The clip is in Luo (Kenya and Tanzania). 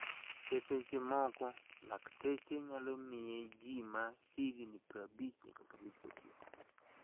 E seche moko, lakteche nyalo miye ji ma hikgi 50 nyaka 59.